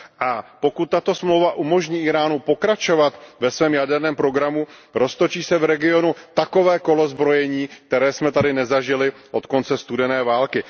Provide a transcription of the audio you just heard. A pokud tato smlouva umožní Íránu pokračovat ve svém jaderném programu, roztočí se v regionu takové kolo zbrojení, které jsme tady nezažili od konce studené války.